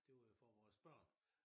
Det var jo for vores børn